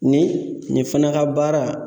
Nin nin fana ka baara